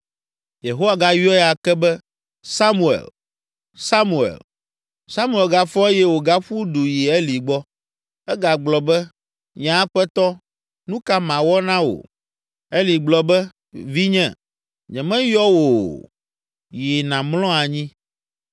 Yehowa gayɔe ake be, “Samuel! Samuel!” Samuel gafɔ eye wògaƒu du yi Eli gbɔ. Egagblɔ be, “Nye aƒetɔ, nu ka mawɔ na wò?” Eli gblɔ be, “Vinye, nyemeyɔ wò o, yi nàmlɔ anyi.”